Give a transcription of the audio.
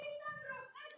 Þú varst líf mitt.